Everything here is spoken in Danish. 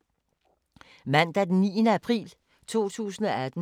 Mandag d. 9. april 2018